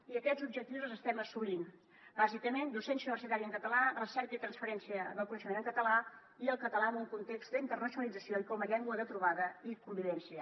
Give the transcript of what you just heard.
i aquests objectius els estem assolint bàsicament docència universitària en català recerca i transferència del coneixement en català i el català en un context d’internacionalització i com a llengua de trobada i convivència